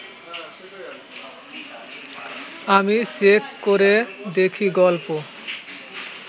আমি চেক করে দেখি গল্প